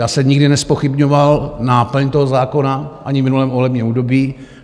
Já jsem nikdy nezpochybňoval náplň toho zákona, ani v minulém volebním období.